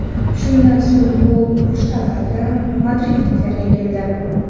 Shundan so‘ng gol urish navbati madridliklarga keldi.